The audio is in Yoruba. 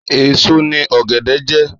Èso ni ọ̀gẹ̀dẹ̀ jẹ́.